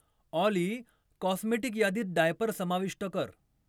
ऑली cosmetic यादीत diaper समाविष्ट कर